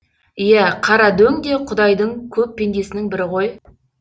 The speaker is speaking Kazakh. иә қарадөң де құдайдың көп пендесінің бірі ғой